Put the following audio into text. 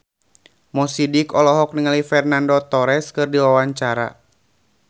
Mo Sidik olohok ningali Fernando Torres keur diwawancara